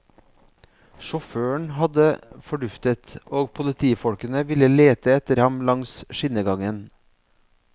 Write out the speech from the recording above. Sjåføren hadde forduftet, og politifolkene ville lete etter ham langs skinnegangen.